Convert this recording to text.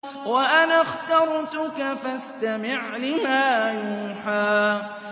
وَأَنَا اخْتَرْتُكَ فَاسْتَمِعْ لِمَا يُوحَىٰ